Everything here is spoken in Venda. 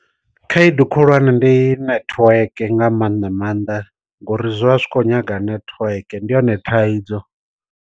Khaedu khulwane ndi network nga maanḓa maanḓa ngori zwi vha zwi khou nyaga netiweke ndi yone thaidzo.